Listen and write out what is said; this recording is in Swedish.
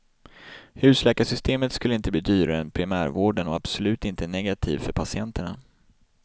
Husläkarsystemet skulle inte bli dyrare än primärvården och absolut inte negativ för patienterna.